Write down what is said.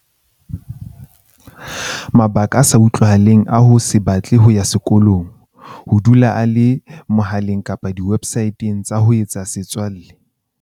Mabaka a sa utlwahaleng a ho se batle ho ya sekolong. Ho dula a le mohaleng kapa diwebsae teng tsa ho etsa setswalle.